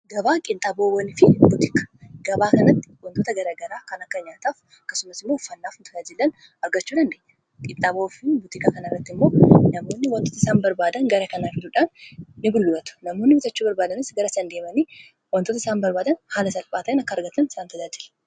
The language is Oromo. Gabaa qinxaaboowwanii. Gabaa kanatti wantoota gara garaa kan akka nyaataaf akkasumas immoo uffaannaaf wantoota jiran argachudhaan. qinxaaboofi butikaa kana irratti immoo namoonni wantoota isaan barbaadan gara kanaa jiruudhaan . Namoonni bitachuu barbaadanis gara san deemanii wantoota isaan barbaadan haala salphaa ta'een akka argatan isaan tajaajila.